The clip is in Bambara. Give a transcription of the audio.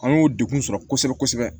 An y'o degun sɔrɔ kosɛbɛ kosɛbɛ